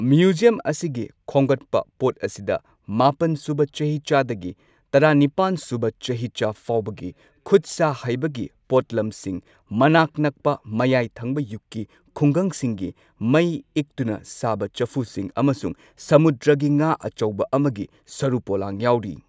Museum ꯑꯁꯤꯒꯤ ꯈꯣꯝꯒꯠꯄ ꯄꯣꯠ ꯑꯁꯤꯗ ꯃꯥꯄꯟ ꯁꯨꯕ ꯆꯍꯤꯆꯥꯗꯒꯤ ꯇꯔꯥꯅꯤꯄꯥꯟ ꯁꯨꯕ ꯆꯍꯤꯆꯥ ꯐꯥꯎꯕꯒꯤ ꯈꯨꯠ ꯁꯥ ꯍꯩꯕꯒꯤ ꯄꯣꯠꯂꯝꯁꯤꯡ, ꯃꯅꯥꯛ ꯅꯛꯄ ꯃꯌꯥꯏ ꯊꯪꯕ ꯌꯨꯒꯀꯤ ꯈꯨꯡꯒꯪꯁꯤꯡꯒꯤ ꯃꯩ ꯏꯛꯇꯨꯅ ꯁꯥꯕ ꯆꯐꯨꯁꯤꯡ ꯑꯃꯁꯨꯡ ꯁꯃꯨꯗ꯭ꯔꯒꯤ ꯉꯥ ꯑꯆꯧꯕ ꯑꯃꯒꯤ ꯁꯔꯨ ꯄꯣꯂꯥꯡ ꯌꯥꯎꯔꯤ꯫